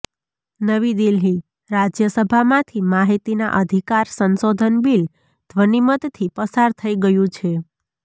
નવી દિલ્હીઃ રાજ્યસભામાંથી માહિતીના અધિકાર સંશોધન બિલ ધ્વનિમતથી પાસ થઇ ગયું છે